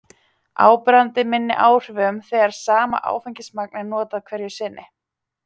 Áberandi minni áhrifum þegar sama áfengismagn er notað hverju sinni.